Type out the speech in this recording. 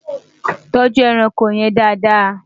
tọjú ẹranko yèn Dàda